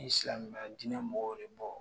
Ne ye silamɛya dinɛ mɔgɔw de ye bɔn